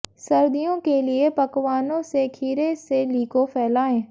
सर्दियों के लिए पकवानों से खीरे से लीको फैलाएं